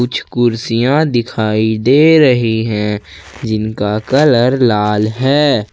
कुछ कुर्सियां दिखाई दे रही है जिनका कलर लाल है ।